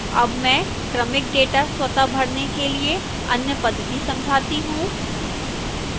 अब मैं क्रमिक data स्वतःभरने के लिए अन्य पद्धति समझाता हूं